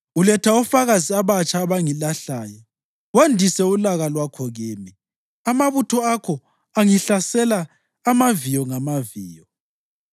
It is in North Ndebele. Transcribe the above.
Uletha ofakazi abatsha abangilahlayo, wandise ulaka lwakho kimi; amabutho akho angihlasela amaviyo ngamaviyo.